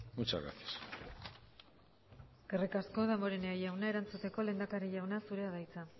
muchas gracias eskerrik asko damborenea jauna erantzuteko lehendakari jauna zurea da hitza